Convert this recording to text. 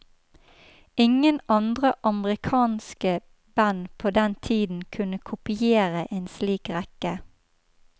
Ingen andre amerikanske band på den tiden kunne kopiere en slik rekke.